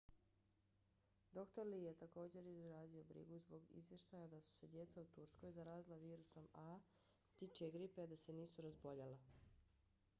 dr. lee je također izrazio brigu zbog izvještaja da su se djeca u turskoj zarazila virusom a h5n1 ptičije gripe a da se nisu razboljela